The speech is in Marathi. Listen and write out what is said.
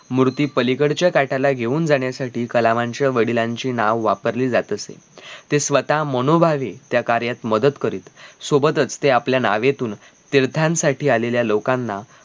मूर्ती पलीकडच्या काटाला घेऊन जाण्यासाठी कलावांच्या वडिलांची नांव वापरली जात असे ते स्वतः मनोभावे त्या कार्यात मदत करीत सोबतच ते आपल्या नावेतून तीर्थांसाठी आलेल्या लोकांना